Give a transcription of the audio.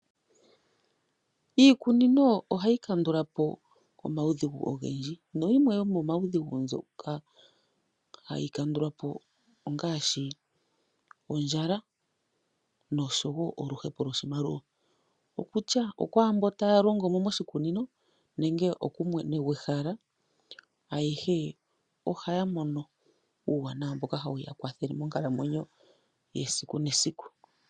Iikunino ohayi kandula po omaudhigu ogendji nayimwe yomomaudhigu ngoka haga kandulwa po kiikunino ongaashi ondjala nosho woo oluhepo lwoshimaliwa. Okutya okwaambono taalongomo moshikunino nenge okumwena gwehala ayehe ohaya mono uuwanawa mboka tau ya kwathele monkalamwenyo ya kehe siku.